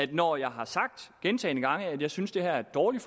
det når jeg gentagne gange at jeg synes det her er et dårligt